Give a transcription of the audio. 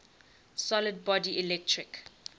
solid body electric